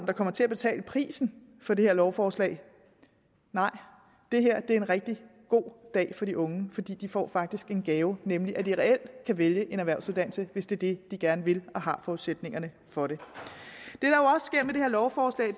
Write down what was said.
kommer til at betale prisen for det her lovforslag nej det her er en rigtig god dag for de unge for de de får faktisk en gave de nemlig reelt vælge en erhvervsuddannelse hvis det er det de gerne vil og har forudsætninger for det her lovforslag